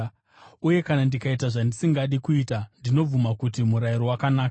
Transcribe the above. Uye kana ndikaita zvandisingadi kuita, ndinobvuma kuti murayiro wakanaka.